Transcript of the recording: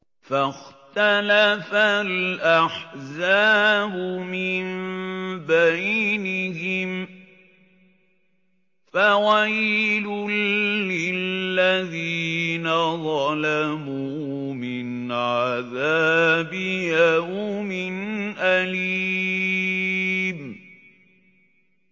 فَاخْتَلَفَ الْأَحْزَابُ مِن بَيْنِهِمْ ۖ فَوَيْلٌ لِّلَّذِينَ ظَلَمُوا مِنْ عَذَابِ يَوْمٍ أَلِيمٍ